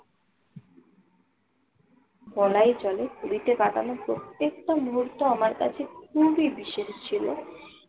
বলাই চলে পুরীতে কাটানো প্রত্যেকটা মুহূর্ত আমার কাছে খুবই বিশেষ ছিল।